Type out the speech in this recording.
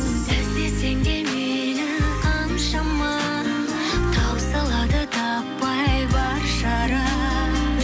сіз десең де мейлі қаншама таусылады таппай бар шара